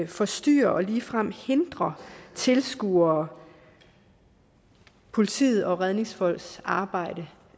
forstyrrer og ligefrem hindrer tilskuere politiets og redningsfolks arbejde